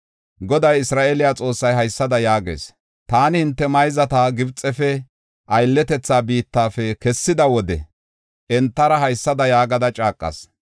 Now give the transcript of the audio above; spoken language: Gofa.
Goday, Isra7eele Xoossay haysada yaagees: “Taani hinte mayzata Gibxefe, aylletetha biittafe kessida wode entara haysada yaagada caaqas.